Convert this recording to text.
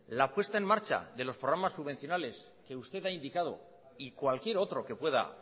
la puesta en marcha de los programas subvencionales que usted ha indicado y cualquier otro que pueda